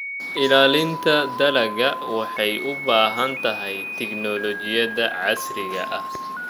Ilaalinta dalagga waxay u baahan tahay tignoolajiyada casriga ah.